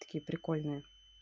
такие прикольные